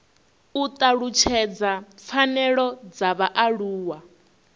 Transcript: u talutshedza pfanelo dza vhaaluwa